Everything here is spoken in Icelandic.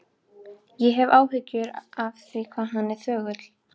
Ég hef áhyggjur af því hvað hann er þögull.